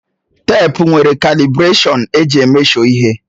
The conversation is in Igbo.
Teepu nwere kalibụrashọnụ eji emeshọ ihe